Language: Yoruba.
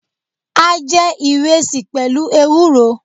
A jé ìresì pèlú ewúro